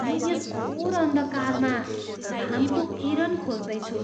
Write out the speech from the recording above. म यस घोर अन्धकारमा घामको किरण खोज्दै छु।